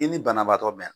I ni banabaatɔ mɛ